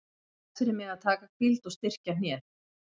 Það er best fyrir mig að taka hvíld og styrkja hnéð.